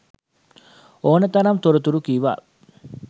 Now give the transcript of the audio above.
ඕනේ තරම් තොරතුරු කිව්වා